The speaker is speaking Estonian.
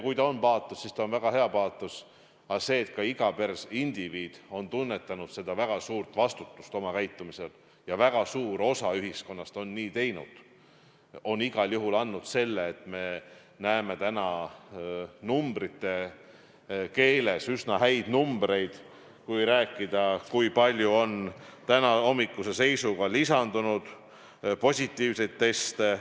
Kui see on paatos, siis see on väga hea paatos, aga see, et ka iga indiviid on tunnetanud väga suurt vastutust, kuidas käituda, ja väga suur osa ühiskonnast on seda teinud, on igal juhul andnud selle, et me näeme täna üsna häid numbreid, kui rääkida sellest, kui palju on tänahommikuse seisuga lisandunud positiivseid teste.